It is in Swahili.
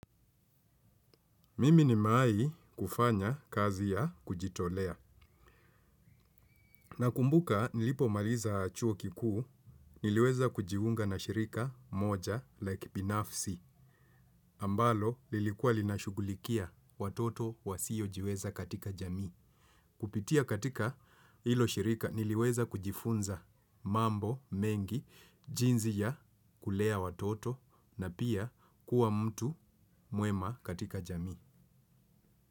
Mimi nimewai kufanya kazi ya kujitolea nakumbuka nilipomaliza chuo kikuu niliweza kujiunga na shirika moja la kibinafsi ambalo lilikuwa linashugulikia watoto wa sio jiweza katika jamii. Kupitia katika hilo shirika niliweza kujifunza mambo mengi jinsi ya kulea watoto na pia kuwa mtu mwema katika jamii.